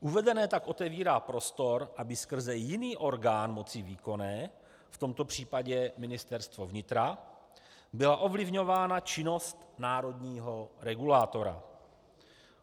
Uvedené tak otevírá prostor, aby skrze jiný orgán moci výkonné, v tomto případě Ministerstvo vnitra, byla ovlivňována činnost národního regulátora.